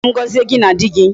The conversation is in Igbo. Bịa ka m gọzie gị na di gị.